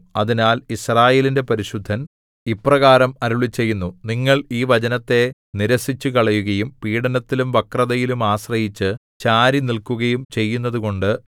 അതിനാൽ യിസ്രായേലിന്റെ പരിശുദ്ധൻ ഇപ്രകാരം അരുളിച്ചെയ്യുന്നു നിങ്ങൾ ഈ വചനത്തെ നിരസിച്ചുകളയുകയും പീഡനത്തിലും വക്രതയിലും ആശ്രയിച്ചു ചാരിനിൽക്കുകയും ചെയ്യുന്നതുകൊണ്ട്